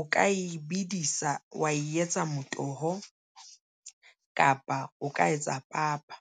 o ka e bedisa wa e etsa motoho, kapa o ka etsa papa.